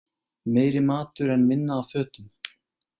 Meiri matur en minna af fötum